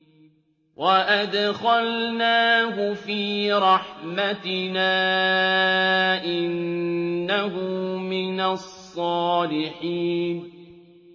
وَأَدْخَلْنَاهُ فِي رَحْمَتِنَا ۖ إِنَّهُ مِنَ الصَّالِحِينَ